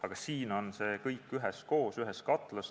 Aga siin on see kõik üheskoos, ühes katlas.